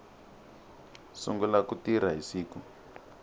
sungula ku tirha hi siku